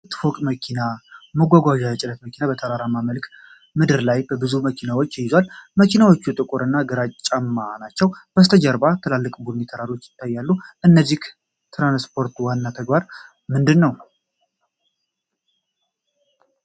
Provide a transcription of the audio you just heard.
ባለ ሁለት ፎቅ መኪና ማጓጓዣ የጭነት መኪና በተራራማ መልክዓ ምድር ላይ ብዙ መኪኖችን ይዟል። መኪኖቹ ጥቁር እና ግራጫማ ናቸው። ከበስተጀርባ ትላልቅ ቡኒ ተራሮች ይታያሉ። የዚህ ትራንስፖርት ዋና ተግባር ምንድን ነው?